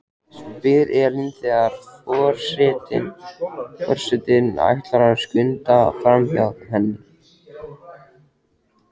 spyr Elín þegar for- setinn ætlar að skunda framhjá henni.